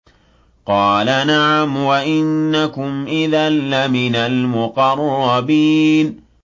قَالَ نَعَمْ وَإِنَّكُمْ إِذًا لَّمِنَ الْمُقَرَّبِينَ